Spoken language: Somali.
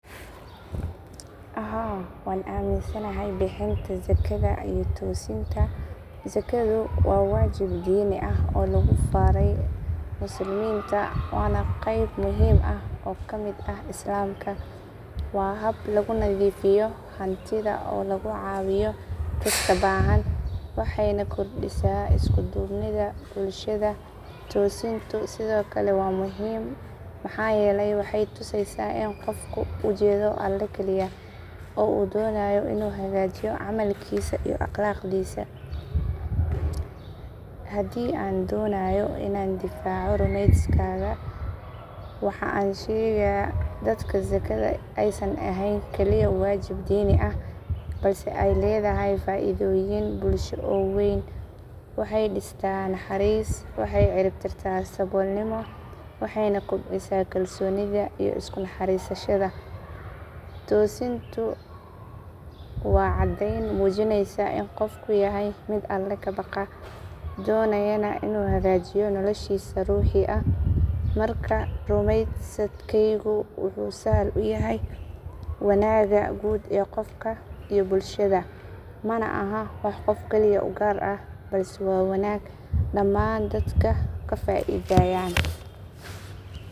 Haa waa aminsanahay bixinta zakada iyo tosiinta zakadu waa wajiib diini ah oo lagu faraay musliminta wana qeyb muhiim ah oo kamid ah islamka waa haab laguu nadiifiyo hantida oo lagu caawiyo dadka bahaan wxeyna kordhisa iskuu dhuubnida bulshada toosintau sido kale waa muhiim mxaa yelaay wxey tuseysaa iin qofku uu jeedo allah kaliya oo uu donayo inuu hagaajiyo camalkisa iyo aqlaqdiisa hadii aan donayo inaan difaco rumeyskaga wxa aan uu shega dadka zakada aaysan aheyn kaliya wajib diini ah balse aay ledahay faidoyin bulsho oo weyn waxey dista naxariis wxey ciriibtirta sabolnimo wxeyna kobcisa kalsonida iyo idku naxarisashaada toosintu waa cadeyn mujineysa iin qoofku yahay miid allah kabaqa donayaana inu hagajiiyo nolashiisa ruuxiga ah marka rumeysadkeygu wxu sahal uu yahay wanaga guud ee qofka iyo bulshada Maana ahaan wax qoof kaliya uu gaar ah balse waa wanaag dhamaan dadka ka faidayaan